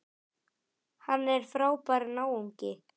Hann er frábær náungi.